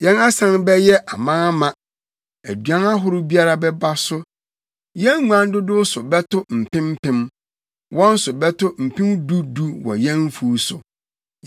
Yɛn asan bɛyɛ amaama; aduan ahorow biara bɛba so. Yɛn nguan dodow so bɛto mpem mpem, wɔn so bɛto mpem du du wɔ yɛn mfuw so;